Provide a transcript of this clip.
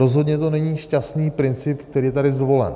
Rozhodně to není šťastný princip, který je tady zvolen.